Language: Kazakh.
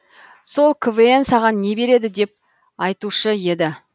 сол квн саған не береді деп айтушы еді